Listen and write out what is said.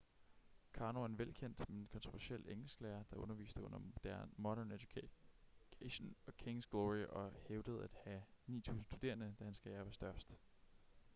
karno er en velkendt men kontroversiel engelsklærer der underviste under modern education og king's glory og hævdede at have 9.000 studerende da hans karriere var størst